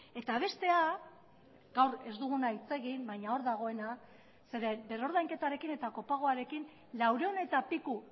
eta bestea gaur ez duguna hitz egin baina hor dagoena zeren berrordainketarekin eta kopagoarekin laurehun eta piku